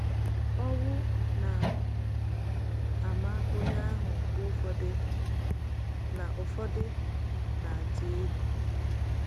Owu na - ama onye ahụ mgbe ụfọdụ na - ụfọdụ na - adị egwu. ”